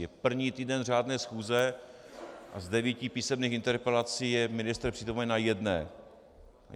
Je první týden řádné schůze a z devíti písemných interpelací je ministr přítomen na jedné.